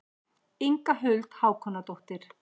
Inga Huld Hákonardóttir.